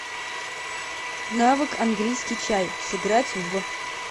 навык английский чай сыграть в